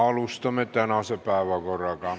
Alustame.